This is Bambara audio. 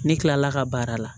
Ne kilala ka baara la